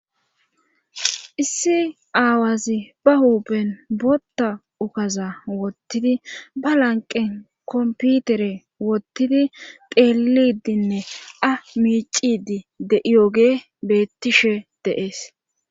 Issi aawazi ba huupen bootta ukaza wottidi ba lanqen komputere wottidi xeelidinne a miicidi de'iyoge bettishe de7ees.